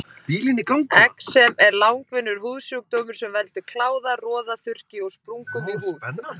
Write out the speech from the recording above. Exem er langvinnur húðsjúkdómur sem veldur kláða, roða, þurrki og sprungum í húð.